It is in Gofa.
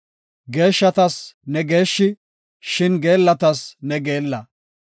Geeshshatas ne geeshshi; shin geellatas ne geella.